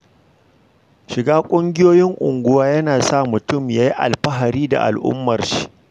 Shiga ƙungiyoyin unguwa yana sa mutum ya yi alfahari da al'ummar shi.